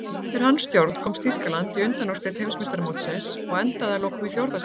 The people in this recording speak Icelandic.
Undir hans stjórn komst Þýskaland í undanúrslit Heimsmeistaramótsins og endaði að lokum í fjórða sæti.